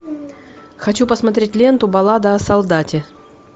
хочу посмотреть ленту баллада о солдате